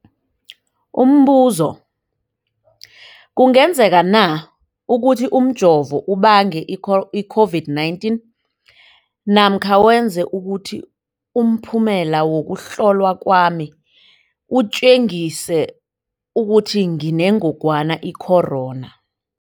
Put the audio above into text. Umbuzo, kungenzekana ukuthi umjovo ubange i-COVID-19 namkha wenze ukuthi umphumela wokuhlolwa kwami utjengise ukuthi nginengogwana i-corona?